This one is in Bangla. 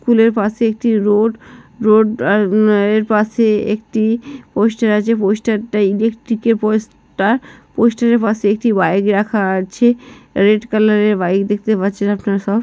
স্কুল -এর পাশে একটি রোড । রোড -এর আ পাশে একটি পোস্টার আছে। পোস্টার -টা ইলেকট্রিক -এর পোস্টার । পোস্টার -এর পাশে একটি বাইক রাখা আছে রেড কালার -এর বাইক দেখতে পাচ্ছি আপনারা সব।